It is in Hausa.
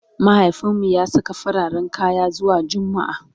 mahaifinmu ya Saka fararen kaya zuwa jumma'a